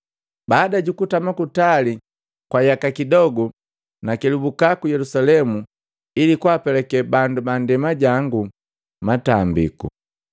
“Baada jukutama kutali masoba kwa yaka kidogu, nakelubuka ku Yelusalemu ili kwaapelake bandu ajangu kuboa litambiku.